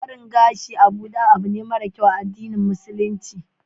barin gashi a buɗe abune mara kyau a addinin musulunci